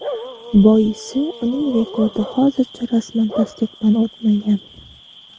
Boisi uning rekordi hozircha rasman tasdiqdan o‘tmagan.